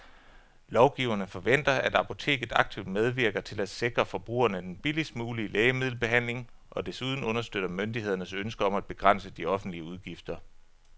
Lovgiverne forventer, at apoteket aktivt medvirker til at sikre forbrugerne den billigst mulige lægemiddelbehandling og desuden understøtter myndighedernes ønske om at begrænse de offentlige udgifter.